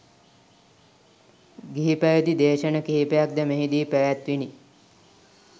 ගිහි පැවැති දේශන කිහිපයක් ද මෙහි දී පැවැත්විණි.